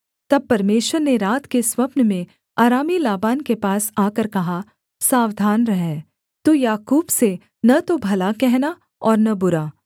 तब परमेश्वर ने रात के स्वप्न में अरामी लाबान के पास आकर कहा सावधान रह तू याकूब से न तो भला कहना और न बुरा